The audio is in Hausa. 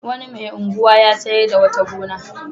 Wani mai unguwa ya sayar da wata gona.